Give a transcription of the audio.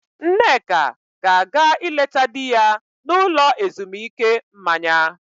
Nneka ga-aga ịleta di ya n'ụlọ ezumuike mmanya.